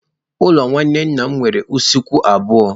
Ụlọ nwanne nna m nwere usekwu abụọ.